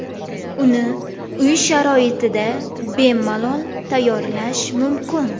Uni uy sharoitida bemalol tayyorlash mumkin.